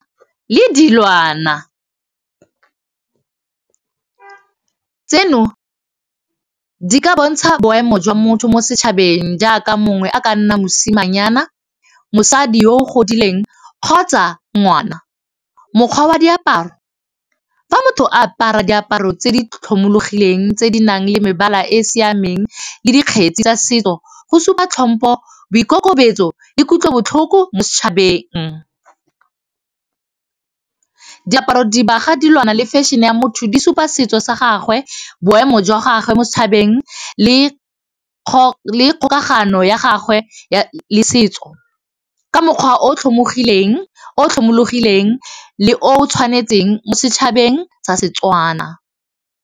Le dilwana tseno di ka bontsha boemo jwa motho mo setšhabeng jaaka mongwe a ka nna mosimanyana mosadi yo o godileng kgotsa ngwana, mokgwa wa diaparo fa motho a apara diaparo tse di tlhomologileng tse di nang le mebala e siameng le dikgetsi tsa setso go supa tlhompho boikokobetso ikutlwa botlhoko mo setšhabeng, diaparo, dibaga, dilwana, le fashion-e ya motho di supa setso sa gagwe boemo jwa gagwe mo setšhabeng le kgokagano ya gagwe le setso ka mokgwa o tlhomologileng le o tshwanetseng mo setšhabeng sa Setswana.